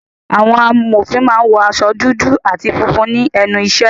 Àwọn amòfin máa ń wọ aṣọ dúdú àti funfun ní ẹnu ìṣẹ́